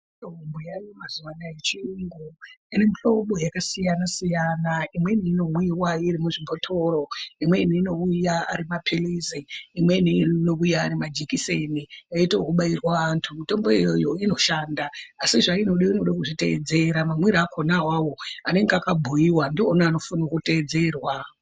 Mutombo yaayo mazuwa anaya yechiyungu ine muhlobo yakasiyana-siyana. Imweni inomwiwa irimuzvibhotoro, imweni anouya ari mapilizi, imweni inouya ari majikiseni eiite ekubairwa antu. Mutombo iyoyo inoshanda, asi zvainoda inode kuzviteedzera mamwire akhona awawo anenge akabhuiwa ndiona anofane kuteedzerwa.